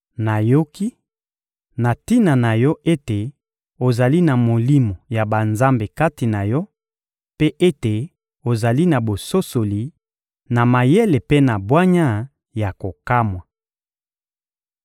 Nayoki na tina na yo ete ozali na molimo ya banzambe kati na yo, mpe ete ozali na bososoli, na mayele mpe na bwanya ya kokamwa!